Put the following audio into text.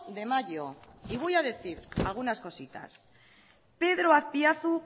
de mayo y voy a decir algunas cositas pedro azpiazu